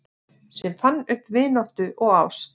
Sem fann upp vináttu og ást